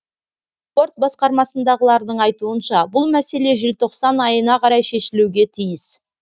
спорт басқармасындағылардың айтуынша бұл мәселе желтоқсан айына қарай шешілуге тиіс